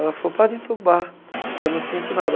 Ela falou, pode entubar, porque eu não sinto nada.